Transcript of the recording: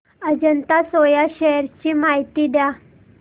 Ajanta soya shares ची माहिती द्या